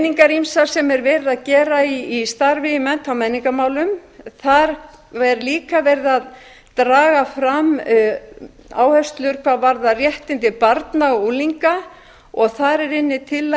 í ýmsum greiningum sem er verið að gera í starfi í mennta og menningarmálum er verið að draga fram áherslur hvað varðar réttindi barna og unglinga og þar er inni